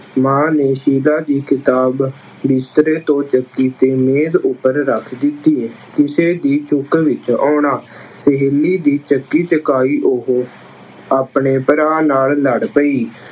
ਮਾਂ ਨੇ ਸ਼ੀਲਾ ਦੀ ਕਿਤਾਬ ਬਿਸਤਰੇ ਤੋਂ ਚੁੱਕੀ ਅਤੇ ਮੇਜ਼ ਉੱਪਰ ਰੱਖ ਦਿੱਤੀ। ਕਿਸੇ ਦੀ ਚੁੱਕ ਵਿੱਚ ਆਉਣਾ- ਸਹੇਲੀ ਦੀ ਚੱਕੀ ਚੁੱਕਾਈ ਉਹ ਆਪਣੇ ਭਰਾ ਨਾਲ ਲੜ ਪਈ।